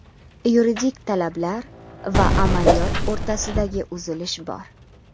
Yuridik talablar va amaliyot o‘rtasidagi uzilish bor.